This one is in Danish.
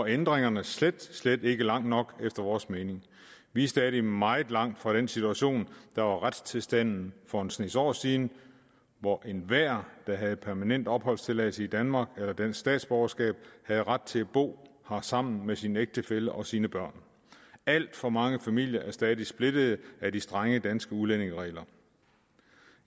at ændringerne slet slet ikke går langt nok efter vores mening vi er stadig meget langt fra den situation der var retstilstanden for en snes år siden hvor enhver der havde permanent opholdstilladelse i danmark eller dansk statsborgerskab havde ret til at bo her sammen med sin ægtefælle og sine børn alt for mange familier er stadig splittede af de strenge danske udlændingeregler